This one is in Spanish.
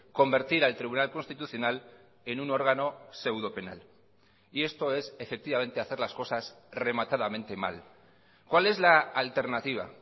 convertir al tribunal constitucional en un órgano seudopenal y esto es efectivamente hacer las cosas rematadamente mal cuál es la alternativa